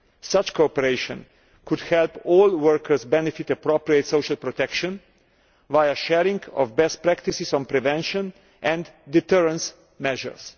Such cooperation could help all workers benefit from appropriate social protection via sharing of best practices on prevention and deterrence measures.